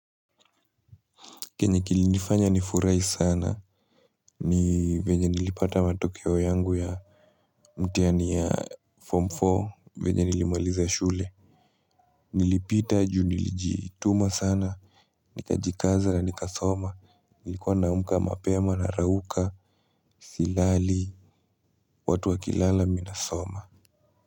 Kenye kilifanya nifurahi sana ni venye nilipata matokeo yangu ya mtihani ya form nne venye nilimaliza shule. Nilipita juu nilijituma sana, nikajikaza na nikasoma, nilikuwa na amka mapema na rauka, silali, watu wakilala mimi nasoma.